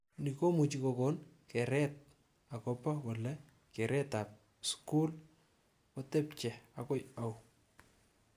Ni komuch kokon keret akobo kole keretab skul kotebch akoi au